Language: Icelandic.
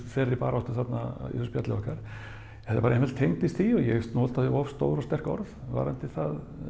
þeirri baráttu þarna í þessu spjalli okkar þetta bara einfaldlega tengdist því og ég notaði of stór og sterk orð varðandi það